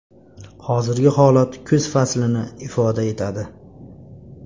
Hozirgi holat kuz faslini ifoda etadi.